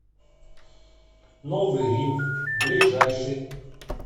новый рим ближайший